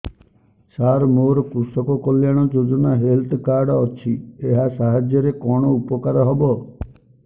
ସାର ମୋର କୃଷକ କଲ୍ୟାଣ ଯୋଜନା ହେଲ୍ଥ କାର୍ଡ ଅଛି ଏହା ସାହାଯ୍ୟ ରେ କଣ ଉପକାର ହବ